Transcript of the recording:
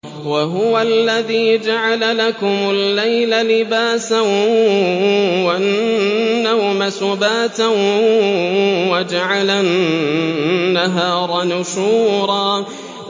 وَهُوَ الَّذِي جَعَلَ لَكُمُ اللَّيْلَ لِبَاسًا وَالنَّوْمَ سُبَاتًا وَجَعَلَ النَّهَارَ نُشُورًا